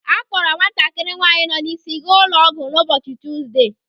A kpọrọ nwatakịrị nwaanyị nọ n'isi gaa ụlọ ọgwụ na ụbọchị Tuzdee.